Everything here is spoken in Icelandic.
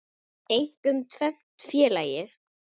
Einkum tvennt, félagi.